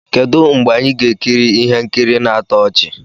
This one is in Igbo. Kedu mgbe anyị ga-ekiri ihe nkiri na-atọ ọchị?